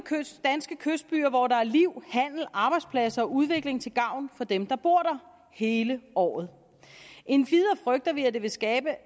danske kystbyer hvor der er liv handel arbejdspladser og udvikling til gavn for dem der bor der hele året endvidere frygter vi at det vil skade